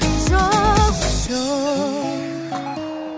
жоқ жоқ